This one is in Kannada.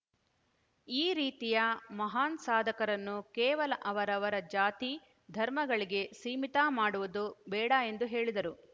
ಈ ರೀತಿಯ ಮಹಾನ್‌ ಸಾಧಕರನ್ನು ಕೇವಲ ಅವರವರ ಜಾತಿ ಧರ್ಮಗಳಿಗೆ ಸೀಮಿತ ಮಾಡುವುದು ಬೇಡ ಎಂದು ಹೇಳಿದರು